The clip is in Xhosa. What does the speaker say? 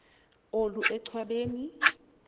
olu enchwa beni